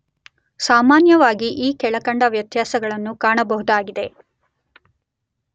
ಸಾಮಾನ್ಯವಾಗಿ ಈ ಕೆಳಕಂಡ ವ್ಯತ್ಯಾಸಗಳನ್ನು ಕಾಣ ಬಹುದಾಗಿದೆ.